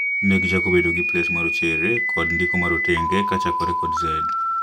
Ne gichako bedo kod plets marochere kod ndiko marotenge kachakore kod Z